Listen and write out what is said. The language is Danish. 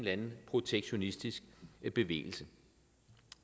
anden protektionistisk bevægelse